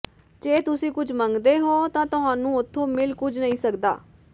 ਜੇ ਤੁਸੀ ਕੁੱਝ ਮੰਗਦੇ ਹੋ ਤਾਂ ਤੁਹਾਨੂੰ ਉਥੋਂ ਮਿਲ ਕੁੱਝ ਨਹੀਂ ਸਕਦਾ